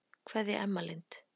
Kveðja, Emma Lind.